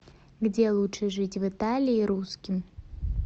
где лучше жить в италии русским